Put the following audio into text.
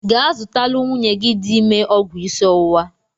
Gaa zụtalụ nwunye gị dị ime ọgwụ isi ọwụwa!